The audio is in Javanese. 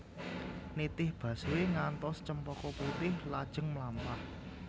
Nitih busway ngantos Cempaka Putih lajeng mlampah